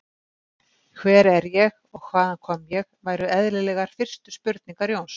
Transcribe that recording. Hver er ég og hvaðan kom ég, væru eðlilegar fyrstu spurningar Jóns.